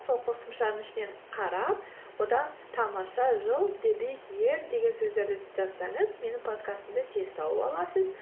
сол қосымшаның ішінен қарап одан тамаша жыл деген сөздерді жазсаңыз менің подкастымды тез тауып аласыз